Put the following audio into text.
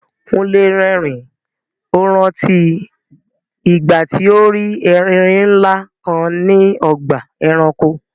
Kúnlé rẹ́rìn-ín, ó rántí ìgbà tí ó rí erin ńlá kan ní ọgbà ẹranko.